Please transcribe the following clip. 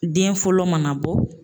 Den fɔlɔ mana bɔ